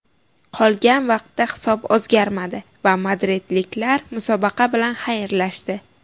Qolgan vaqtda hisob o‘zgarmadi va madridliklar musobaqa bilan xayrlashdi.